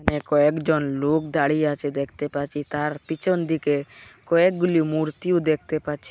কয়েকজন লোক দাঁড়িয়ে আছে দেখতে পাচ্ছি তার পিছনদিকে কয়েকগুলি মূর্তিও দেখতে পাচ্ছি।